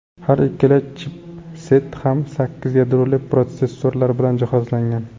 Har ikkala chipset ham sakkiz yadroli protsessorlar bilan jihozlangan.